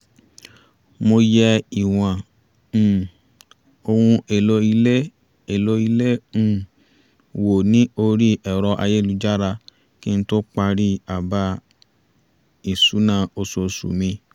mo yẹ ìwọ̀n um ohun èlò ilé èlò ilé um wò ní orí ẹ̀rọ ayélujára kí n tó parí àbá-ìṣúná oṣooṣù mi